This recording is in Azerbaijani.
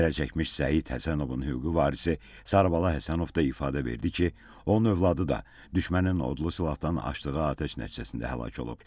Zərərçəkmiş Səid Həsənovun hüquqi varisi Sarabala Həsənov da ifadə verdi ki, onun övladı da düşmənin odlu silahdan açdığı atəş nəticəsində həlak olub.